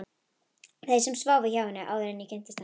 Þeim sem sváfu hjá henni, áður en ég kynntist henni.